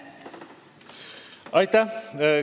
Aitäh!